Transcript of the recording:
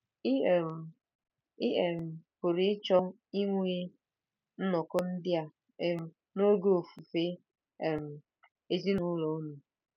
Ị um Ị um pụrụ ịchọ inwe nnọkọ ndị a um n'oge Ofufe um Ezinụlọ unu.